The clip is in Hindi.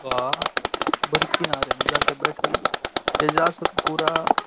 वाह बड़ी किनारे में जाके बैठल है एजा सतपूरा --